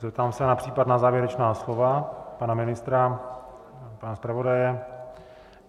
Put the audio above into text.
Zeptám se na případná závěrečná slova pana ministra, pana zpravodaje.